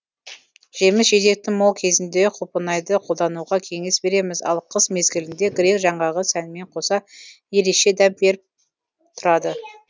жеміс жидектің мол кезінде құлпынайды қолдануға кеңес береміз ал қыс мезгілінде грек жаңғағы сәнмен қоса ереше дәм беріп тұрады